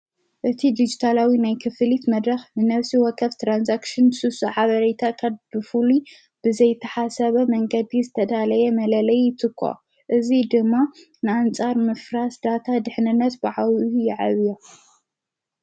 እቲ ዲጅታላዊ ናይ ክፍሊት መድራኽ ብነፍሲ ወከፍ ተራንሳክሽን ሱሱ ዓበሬታ ኸድፉሉ ብዘይተሓሰበ መንገዲ ዝተዳለየ መለለይ ይትኳ እዙይ ድማ ንኣንፃር ምፍራስዳታ ድኅንነት ብዓዊዩ የዕብያ::